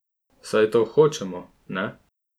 Saj to hočemo, ne?